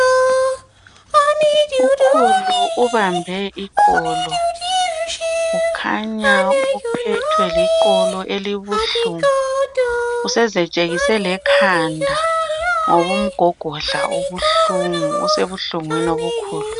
Ukhulu ubambe iqolo, ukhanya uphethwe liqolo elibuhlungu. Usezetshekise lekhanda ngoba umgogodla ubuhlungu. Usebuhlungwini obukhulu.